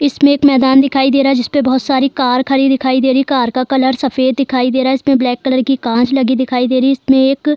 इसमें एक मैदान दिखाई दे रहा जिसपे बहुत सारी कार खरी दिखाई दे रही कार का कलर सफ़ेद दिखाई दे रहा इसमें ब्लैक कलर की कांच लगी दिखाई दे रही इसमें एक --